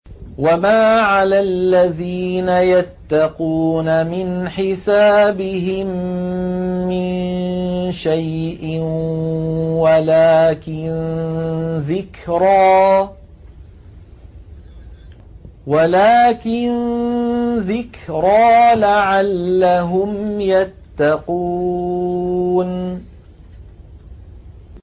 وَمَا عَلَى الَّذِينَ يَتَّقُونَ مِنْ حِسَابِهِم مِّن شَيْءٍ وَلَٰكِن ذِكْرَىٰ لَعَلَّهُمْ يَتَّقُونَ